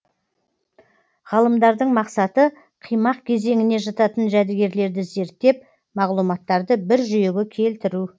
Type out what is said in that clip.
ғалымдардың мақсаты қимақ кезеңіне жататын жәдігерлерді зерттеп мағлұматтарды бір жүйеге келтіру